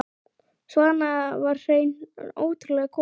Svana var hreint ótrúleg kona.